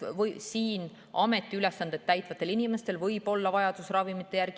Siin ametiülesandeid täitvatel inimestel võib olla vajadus ravimite järele.